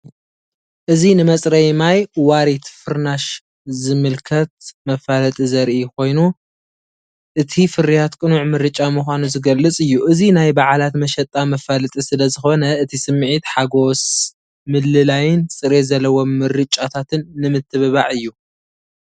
እዚ ንመጽረዪ ማይ ዋሪት ፍርናሽ ዝምልከት መፋለጢ ዘርኢ ኮይኑእቲ ፍርያት ቅኑዕ ምርጫ ምዃኑ ዝገልጽ እዩ። እዚ ናይ በዓላት መሸጣ መፋለጢ ስለዝኾነ እቲ ስምዒት ሓጎስ ምልላይን ጽሬት ዘለዎ ምርጫታትን ንምትብባዕ እዩ።